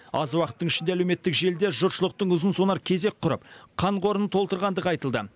аз уақыттың ішінде әлеуметтік желіде жұртшылықтың ұзын сонар кезек құрып қан қорын толтырғандығы айтылды